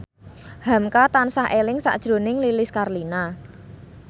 hamka tansah eling sakjroning Lilis Karlina